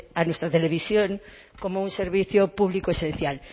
a nuestra televisión como un servicio público esencial